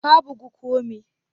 Ka bugu ko me?